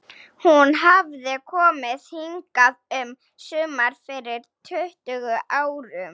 Hún hafði komið hingað um sumar fyrir tuttugu árum.